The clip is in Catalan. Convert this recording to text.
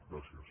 gràcies